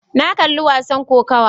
Na kalli wasan kokawa.